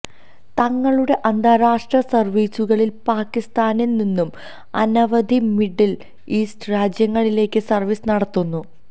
തങ്ങളുടെ അന്താരാഷ്ട്ര സർവീസുകളിൽ പാകിസ്താനിൽനിന്നും അനവധി മിഡിൽ ഈസ്റ്റ് രാജ്യങ്ങളിലേക്ക് സർവീസ് നടത്തുന്നു